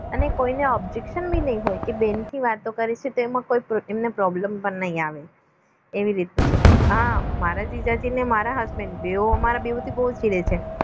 અને કોઈને objection ભી નહીં હોય કે બહેનથી વાતો કરીએ છે તો એમને problem પણ નહીં આવે એવી રીતનું છે હા મારા જીજાજી અને husband મારાથી બહુ જ છે